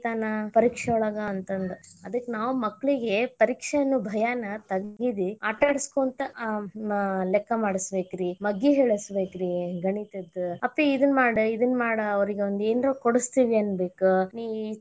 ತಗಿತಾನ ಪರೀಕ್ಷೆ ಒಳಗ ಅಂತಂದ ಅದಕ್ಕ್ ನಾವ್ ಮಕ್ಕಳಿಗೆ ಪರೀಕ್ಷೆ ಅನ್ನೋ ಭಯಾನ ತಗಿರಿ ಆಟ ಆಡಸ್ಕೊಂತ ಆ ಲೆಕ್ಕಾ ಮಾಡಸಬೇಕರಿ ಮಗ್ಗಿ ಹೇಳಸಬೇಕರಿ ಗಣಿತದ್ದ ಅಪ್ಪಿ ಇದನ್ನ್ ಮಾಡ್ ಇದನ್ನ್ ಮಾಡ್ ಅವ್ರಿಗೆ ಒಂದ್ ಏನರ ಕೊಡಸ್ತೇನಿ ಅನ್ನಬೇಕ ನೀ.